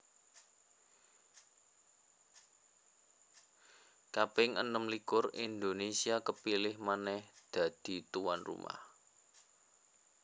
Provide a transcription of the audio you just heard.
kaping enem likur Indonésia kepilih manèh dadi tuan rumah